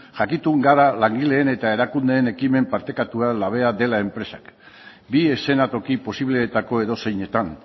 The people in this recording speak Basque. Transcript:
jakitun gara langileen eta erakundeen ekimen partekatua labea dela enpresak bi eszenatoki posibleetako edozeinetan